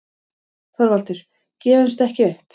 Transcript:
ÞORVALDUR: Gefumst ekki upp!